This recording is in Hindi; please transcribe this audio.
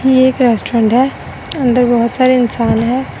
यह एक रेस्टोरेंट है अंदर बहोत सारे इंसान हैं।